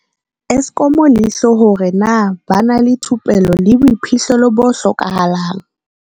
Eskom leihlo hore na ba na le thupello le boiphihlelo bo hlokahalang.